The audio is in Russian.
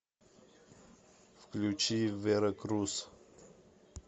включи вера круз